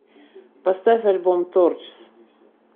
поставь альбом торчс